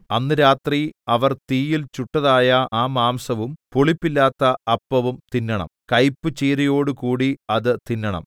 അന്ന് രാത്രി അവർ തീയിൽ ചുട്ടതായ ആ മാംസവും പുളിപ്പില്ലാത്ത അപ്പവും തിന്നണം കൈപ്പുചീരയോടുകൂടി അത് തിന്നണം